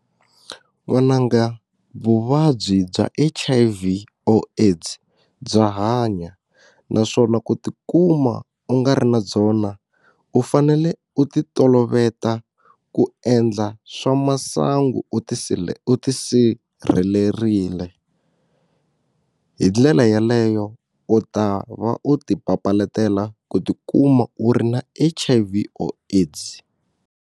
N'wananga vuvabyi bya H_I_V or AIDS bya hanya naswona ku tikuma u nga ri na byona u fanele u ti toloveta ku endla swa masangu u u ti sirhelerile hi ndlela yeleyo u ta va u ti papalatela ku tikuma u ri na H_I_V or AIDS.